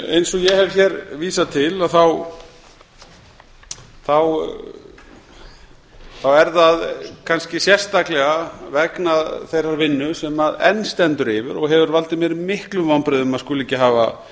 eins og ég hef hér vísað til er það kannski sérstaklega vegna þeirrar vinnu sem enn stendur yfir og hefur valdið mér miklum vonbrigðum að skuli ekki hafa